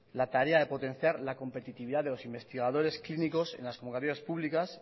la tarea de potenciar la competitividad de los investigadores clínicos en las convocatorias públicas